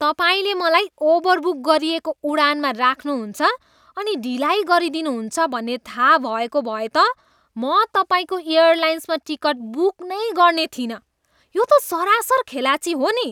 तपाईँले मलाई ओभरबुक गरिएको उडानमा राख्नुहुन्छ अनि ढिलाइ गरिदिनुहुन्छ भन्ने थाहा भएको भए त म तपाईँको एयरलाइन्समा टिकट बुक नै गर्ने थिइनँ। यो त सरासर खेलाँची हो नि।